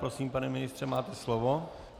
Prosím, pane ministře, máte slovo.